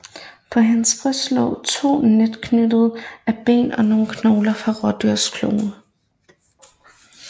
På hendes bryst lå to netknyttere af ben og nogle knogler fra rådyrklove